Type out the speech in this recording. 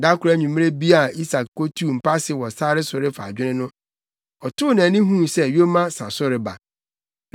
Da koro anwummere bi a Isak kotuu mpase wɔ sare so refa adwene no, ɔtoo nʼani huu sɛ yoma sa so reba.